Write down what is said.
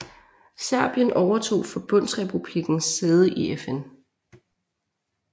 Serbien overtog forbundsrepublikkens sæde i FN